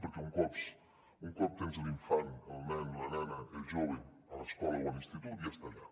perquè un cop tens l’infant el nen la nena el jove a l’escola o a l’institut ja està allà